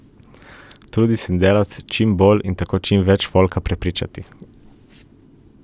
Trudimo se delati čim bolje in tako čim več folka prepričati.